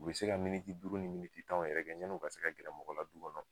U be se ka duuru ni tanw yɛrɛ kɛ ya ni u ka se ka gɛrɛ mɔgɔ la du kɔnɔ.